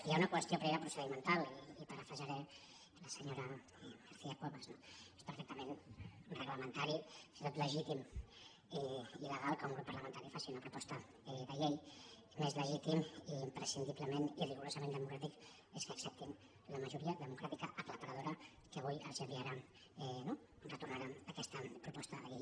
hi ha una qüestió prèvia procedimental i parafrasejaré la senyora garcia cuevas no és perfectament reglamentari i fins i tot legítim i legal que un grup parlamentari faci una proposta de llei més legítim i imprescindiblement i rigorosament democràtic és que acceptin la majoria democràtica aclaparadora que avui els enviarà eh retornarà aquesta proposta de llei